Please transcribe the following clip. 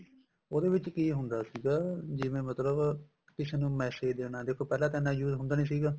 ਉਹਦੇ ਵਿੱਚ ਕੀ ਹੁੰਦਾ ਸੀਗਾ ਜਿਵੇਂ ਮਤਲਬ ਕਿਸੇ ਨੂੰ message ਦੇਣਾ ਦੇਖੋ ਪਹਿਲਾਂ ਤਾਂ ਇੰਨਾ use ਹੁੰਦਾ ਨੀ ਸੀਗਾ